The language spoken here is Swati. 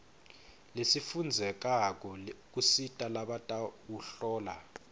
lesifundzekako kusita labatawuhlola